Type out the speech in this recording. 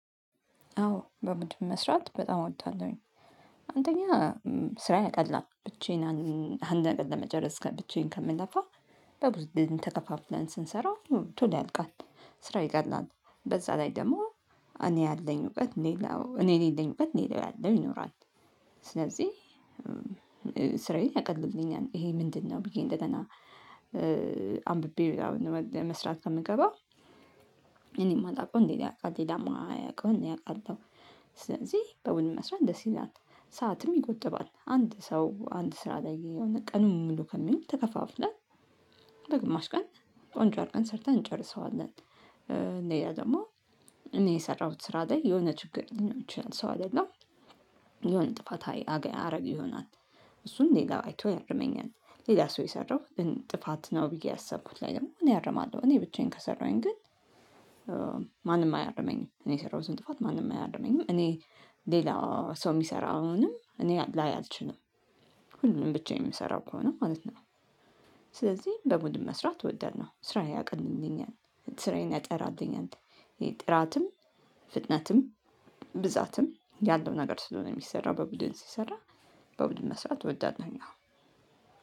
አዎ በምድብ መስራት በጣም እወዳለሁኝ። አንደኛ ስራዬ ያቀላል ብቻዬን አንድ ነገር ለመጨረስ ከ ብቻዬን ከምንለፋ። በብዙ ቡድን ተከፋፍለን ስንሰራው ቶሎ ያልቃል። ስራ ይቀላል በዛ ላይ ደግሞ እኔ ያለኝ እውቀት ሌላው እኔ የሌለኝ እውቀት ሌላው ያለው ይኖራል። ስለዚህ ስራዬን ያቀልልኛል ይሄ ምንድነው ብዬ እንደገና አንብቤ ለመስራት ከምገባ እኔም ማላውቀውን ሌላ ያውቃል ሌላ ማያውቀውምን እኔ አውቃለሁ። ስለዚህ በቡድን መስራት ደስ ይላል። ሰዓትም ይጎጥባል አንድ ሰው አንድ ስራ ላይ የሆነ ቀኑን ሙሉ ከሚውል ተከፋፍለን በግማሽ ቀን ቆንጆ አርገን ሰርተን እንጨርሰዋለን። ሌላው ደግሞ እኔ የሰራሁት ስራ ላይ የሆነ ችግር ልኖር ይችላል ሰው አይደለም። የሆነ ጥፋት አረግ ይሆናል። እሱን ሌላ አይቶ ያርመኛል ሌላ ሰው የሰራው ግን ጥፋት ነው ብዬ ያሰብኩት ላይ ደግሞ እኔ አርማለሁ። እኔ ብቻዬን ከሰራሁኝ ግን። ማንም አያርመኝም እኔ የሰራሁትን ጥፋት ማንም አያርመኝም እኔ። ሌላ ሰው የሚሰራውንም እኔ ላይ አልችልም። ሁሉንም ብቻዬን የምሰራው ከሆነ ማለት ነው። ስለዚህ በቡድን መስራት እወደለሁ ስራዬን ያቃልልኝናል ስራዬን ያጠራልኝ። ጥራትም ፍጥነትም ብዛትም ያለው ነገር ስለሆነ የሚሰራው በቡድን ሲሰራ በቡድን መስራት እወዳለሁኝ። አዎ